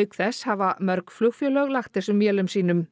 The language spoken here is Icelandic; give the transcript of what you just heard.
auk þess hafa mörg flugfélög lagt þessum vélum sínum